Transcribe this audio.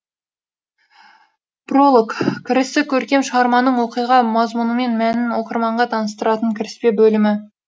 пролог кірісі көркем шығарманың оқиға мазмұнымен мәнін оқырманға таныстыратын кіріспе бөлімі